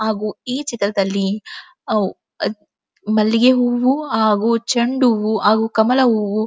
ಹಾಗು ಈ ಚಿತ್ರದಲ್ಲಿ ಅವು ಮಲ್ಲಿಗೆ ಹೂವು ಹಾಗು ಚೆಂಡ್ ಹೂವು ಹಾಗು ಕಮಲ ಹೂವು--